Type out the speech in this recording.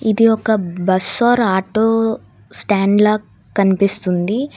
ఇది ఒక bus or auto stand లా కనిపిస్తుంది.